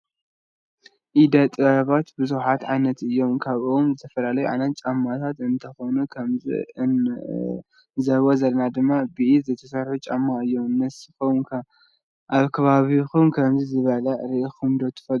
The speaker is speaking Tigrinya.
ኢደ ጥበባት ቡዛሓት ዓይነት እዩም። ካብአቶም ዝተፈላለዩ ዓይነታት ጫማታት እንትኮኑ ከምዚ እንዕዘቦ ዘለና ድማ ብኢድ ዝተሰርሐ ጫማ እዩ። ንስኩም ከ አብ ከባቢኩም ከምዚ ዝበለ ሪኢኩመ ዶ ትፈልጡ?